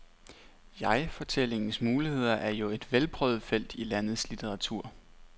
Jegfortællingens muligheder er jo et velprøvet felt i landets litteratur.